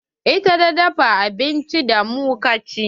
Ita ta dafa abincin da mu ka ci?